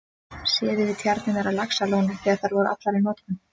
Séð yfir tjarnirnar á Laxalóni þegar þær voru allar í notkun.